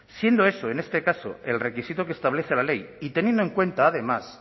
siendo eso en este caso el requisito que establece la ley y teniendo en cuenta además